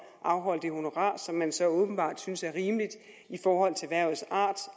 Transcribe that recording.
afholde det honorar som man så åbenbart synes er rimeligt i forhold til hvervets art